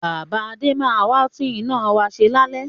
Bàbá Adé máa wà tún iná wá ṣe lálẹ́